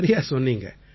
சரியா சொன்னீங்க